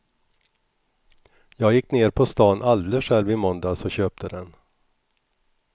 Jag gick ner på stan alldeles själv i måndags och köpte den.